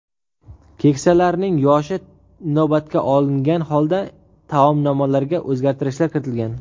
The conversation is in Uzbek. Keksalarning yoshi inobatga olingan holda taomnomalarga o‘zgartirishlar kiritilgan.